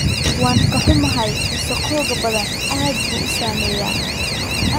Waan ka xunnahay, wasakhowga badda aad buu u saameeyaa.